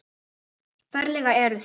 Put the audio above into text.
Ferlega eruð þið